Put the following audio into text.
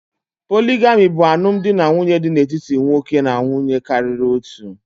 Poligami bụ alụmdinanwuye dị n'etiti nwoke na nwunye karịrị otu.